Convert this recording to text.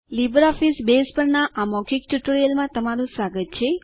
LibreOffice Base પરના આ મૌખિક ટ્યુટોરીયલમાં તમારું સ્વાગત છે